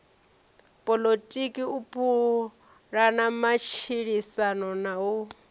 poḽotiki u pulana matshilisano na